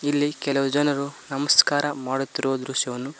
ಇಲ್ಲಿ ಕೆಲವು ಜನರು ನಮಸ್ಕಾರ ಮಾಡುತ್ತಿರುವ ದೃಶ್ಯವನ್ನು--